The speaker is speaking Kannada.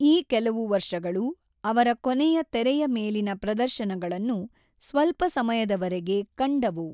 ಈ ಕೆಲವು ವರ್ಷಗಳು ಅವರ ಕೊನೆಯ ತೆರೆಯ-ಮೇಲಿನ ಪ್ರದರ್ಶನಗಳನ್ನು ಸ್ವಲ್ಪ ಸಮಯದವರೆಗೆ ಕಂಡವು.